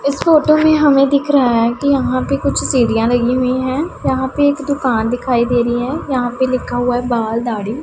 उस फोटो में हमें दिख रहा है कि यहां पे कुछ सीढ़ियां लगी हुई है यहां पे एक दुकान दिखाई दे रही है यहां पे लिखा हुआ है। बाल दाढ़ी --